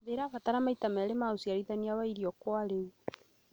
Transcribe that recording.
thĩ ĩrabatara maita merĩ ma ũciarithania wa irio kwa rĩu.